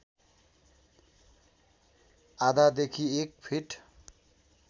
आधादेखि एक फिट